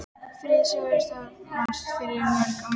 Friðþjófs hófust á Landsbókasafni fyrir margt löngu.